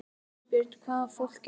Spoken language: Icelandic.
Þorbjörn: Hvaða fólk er þetta?